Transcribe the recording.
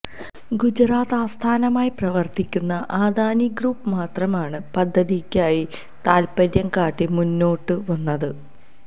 ഗുജറാത്ത് ആസ്ഥാനമായി പ്രവര്ത്തിക്കുന്ന അദാനി ഗ്രൂപ്പ് മാത്രമാണ് പദ്ധതിക്കായി താത്പര്യം കാട്ടി മുന്നോട്ടു വന്നത്